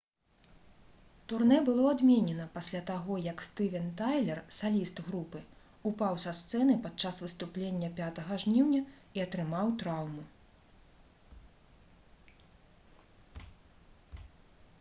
турнэ было адменена пасля таго як стывен тайлер саліст групы упаў са сцэны падчас выступлення 5 жніўня і атрымаў траўму